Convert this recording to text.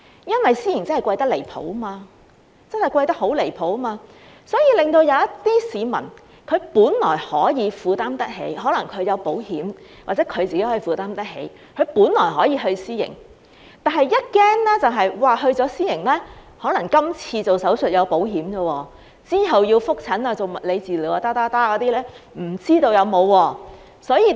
因為私營真的貴得很離譜，令一些可能有購買保險或自己負擔得起的市民，本來可以去私營，但恐怕一旦去了私營......今次動手術可能有保險保障，之後要覆診、做物理治療及其他，就不知道有沒有了。